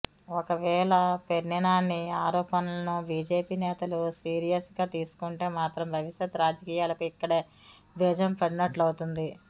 ఒకవేళ పేర్నినాని ఆరోపణలను బీజేపీ నేతలు సీరియస్ గా తీసుకుంటే మాత్రం భవిష్యత్ రాజకీయాలకు ఇక్కడే బీజం పడినట్లవుతుంది